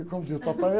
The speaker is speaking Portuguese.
E como diz o papai, é...